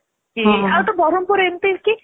ଆଉ ତ ବରମପୁର ରେ ଏମିତି କି